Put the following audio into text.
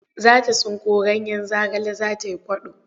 Za ta tsinko ganyen zagale za ta yi kwaɗo.